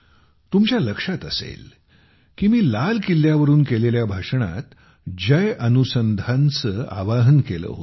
तुमच्या लक्षात असेल की मी लाल किल्ल्यावरून केलेल्या भाषणात जय अनुसंधानचे आव्हान केले होते